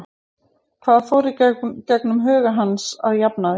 Hvað fór í gegnum huga hans eftir að hann jafnaði?